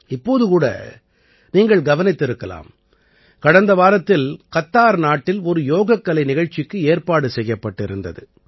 இப்போது கூட நீங்கள் கவனித்திருக்கலாம் கடந்த வாரத்தில் கத்தார் நாட்டில் ஒரு யோகக்கலை நிகழ்ச்சிக்கு ஏற்பாடு செய்யப்பட்டிருந்தது